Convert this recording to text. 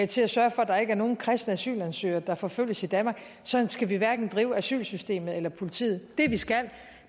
til at sørge for at der ikke er nogen kristne asylansøgere der forfølges i danmark sådan skal vi hverken drive asylsystemet eller politiet det vi skal